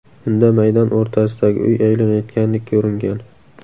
Unda maydon o‘rtasidagi uy aylanayotgandek ko‘ringan.